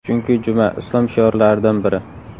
Chunki juma – Islom shiorlaridan biri.